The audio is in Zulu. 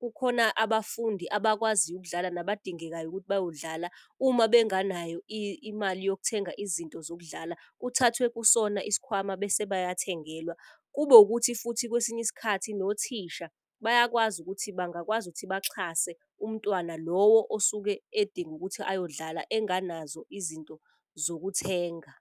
kukhona abafundi abakwaziyo ukudlala nabadingekayo ukuthi bayodlala. Uma benganayo imali yokuthenga izinto zokudlala kuthathwe kusona isikhwama bese bayathengelwa. Kube wukuthi futhi kwesinye isikhathi nothisha bayakwazi ukuthi bangakwazi ukuthi baxhase umntwana. Lowo osuke edinga ukuthi ayodlala enganazo izinto zokuthenga.